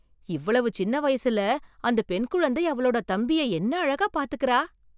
இவ்வளவு சின்ன வயசுல அந்த பெண் குழந்தை அவளோட தம்பிய என்ன அழகா பாத்துக்குறா!